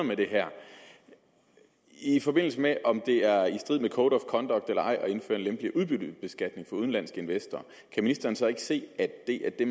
med det her i forbindelse med om det er i strid med code of conduct eller ej at indføre en lempeligere udbyttebeskatning for udenlandsk investor kan ministeren så ikke se at det er det